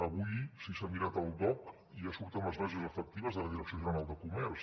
avui si s’ha mirat el dogc ja surten les bases efectives de la direcció general de comerç